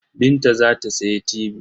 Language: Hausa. Binta za ta sayi tibi.